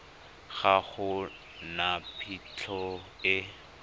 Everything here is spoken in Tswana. ga go na phitlho e